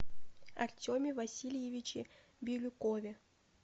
артеме васильевиче бирюкове